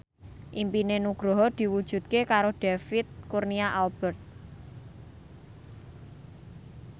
impine Nugroho diwujudke karo David Kurnia Albert